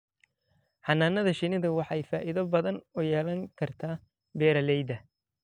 Xannaanada shinnidu waxay faa'iido badan u yeelan kartaa beeralayda.